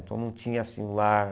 Então não tinha assim um lar...